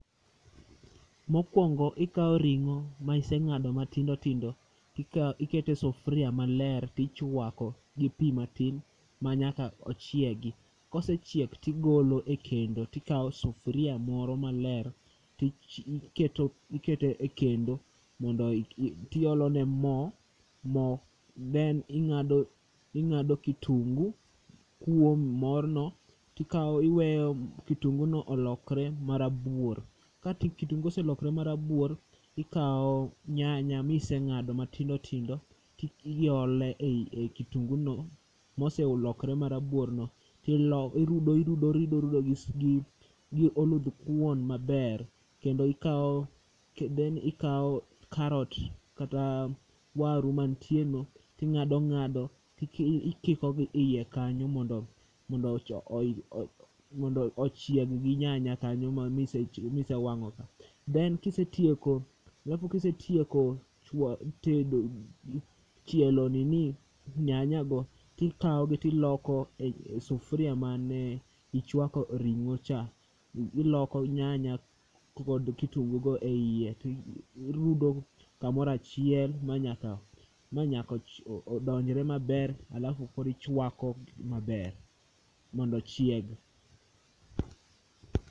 Mokuongo ikawo ring'o ma iseng'ado matindo tindo, iketo e sufuria malrer to ichuako gi pi matin manyaka ochiegi. Kosechiek to igolo e kendo to ikawo sufuria moro maler tike tiketo e kendo to iolone mo then ing'a ing'ado kitungu kuom mornio tiweyo kitunguno olokre marabuor. Ka kitungu ose lokre marabuor tikawo nyanya, kise ng'ado matindo tindo to iole e kitunguno moselokre marabuor no tilo irudo irudo irudo gi oludhkuon maber kendo ikawo then ikawo karot kata waru mantieno ting'ado ing'ado tikikogi eiye kanyo mondo ochieg gi nyanya mane ise wang'o ka. Then kisetieko alafu kisetieko chwa tedo chielo nini nyanyago tikawogi to ikawogi to iloko e sufuria mane ichwake ring'o cha. Iloko nyanya kod kitubgugo eiye to irudo kamoro achiel manyaka manyaka odonjre maber alafu koro ichuako maber mondo ochieg.